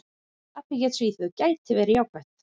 Tapið gegn Svíþjóð gæti verið jákvætt.